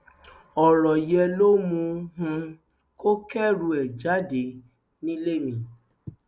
ọrọ yẹn ló mú um kó kẹrù ẹ jáde nílé mi